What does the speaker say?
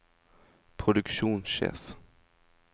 produksjonssjef